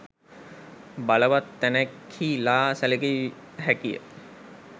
බලවත් තැනෙක්හි ලා සැලකිය හැකි ය.